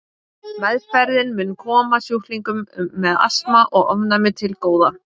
Meðferðin mun koma sjúklingum með astma og ofnæmi til góða.